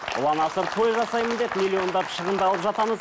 ұлан асыр той жасаймын деп миллиондап шығындалып жатамыз